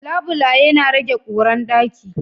Labulaye na rage ƙura a ɗaki.